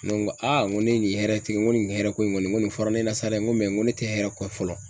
Ne ko n ko aa n ko ne ye nin hɛrɛ tigigi, n ko nin hɛrɛ ko in kɔni nin fɔra ne ɲɛna sa dɛ n ko ko ne te hɛrɛ kɔ fɔlɔ